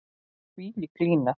Þvílík lína.